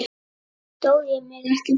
Stóð ég mig ekki vel?